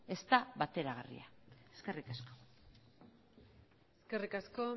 ez da bateragarria eskerrik asko eskerrik asko